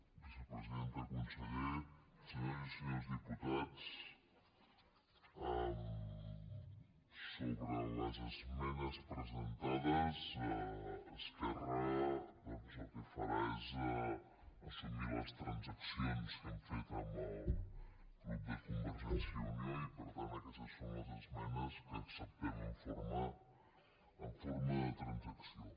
vicepresidenta conseller senyores i senyors diputats sobre les esmenes presentades esquerra doncs el que farà és assumir les transaccions que hem fet amb el grup de convergència i unió i per tant aquestes són les esmenes que acceptem en forma de transacció